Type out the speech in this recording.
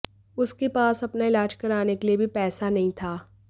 उसके पास अपना इलाज कराने के लिए भी पैसा नहीं था